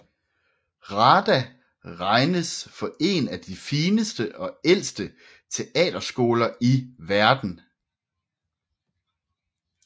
RADA regnes for én af de fineste og ældste teaterskoler i verden